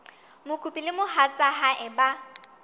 mokopi le mohatsa hae ba